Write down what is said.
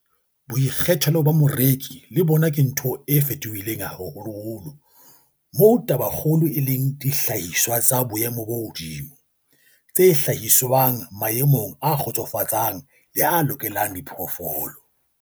Boikgethelo ba moreki le bona ke ntho e fetohileng haholo moo tabakgolo e leng dihlahiswa tsa boemo bo hodimo, tse hlahiswang maemong a kgotsofatsang le a lokelang diphoofolo.